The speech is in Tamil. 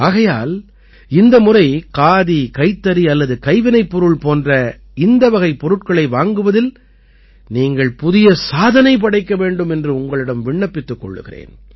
ஆகையால் இந்த முறை காதி கைத்தறி அல்லது கைவினைப்பொருள் போன்ற இந்த வகைப் பொருட்களை வாங்குவதில் நீங்கள் புதிய சாதனை படைக்க வேண்டும் என்று உங்களிடம் விண்ணப்பித்துக் கொள்கிறேன்